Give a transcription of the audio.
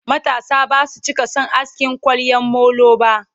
matasa Basu cika San asking kwaryan molo ba